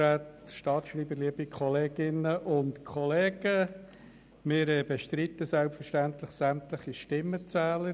Wir bestreiten selbstverständlich sämtliche Stimmenzähler.